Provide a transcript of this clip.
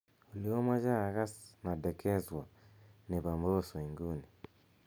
olly amoje agas nadekezwa nebo mbosso inguni